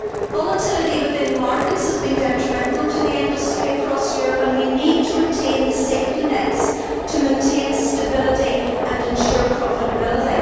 Volatility within markets has been detrimental to the industry across Europe, and we need to retain the safety nets to maintain stability and ensure profitability.